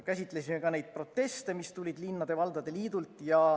Käsitlesime ka neid proteste, mis tulid linnade ja valdade liidult.